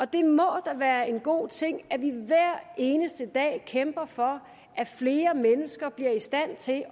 det må da være en god ting at vi hver eneste dag kæmper for at flere mennesker bliver i stand til